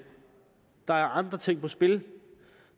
der er andre ting på spil